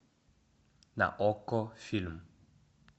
на окко фильм